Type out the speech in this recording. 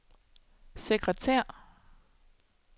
sekretær